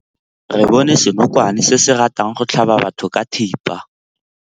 Re bone senokwane se se ratang go tlhaba batho ka thipa.